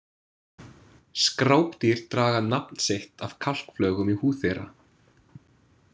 Skrápdýr draga nafn sitt af kalkflögum í húð þeirra.